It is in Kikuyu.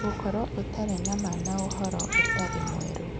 Gũkorũo Ũtarĩ na Ma na Ũhoro Ũtarĩ Mwerũ: